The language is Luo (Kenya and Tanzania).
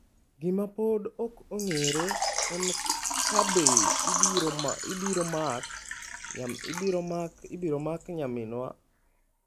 Gima pod ok ong'ere en ka be ibiro mak nyaminwa Valencia Akinyi.